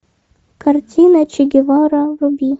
картина че гевара вруби